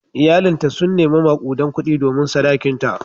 Iyalinta sun nemi makudan kudi domin sadakinta.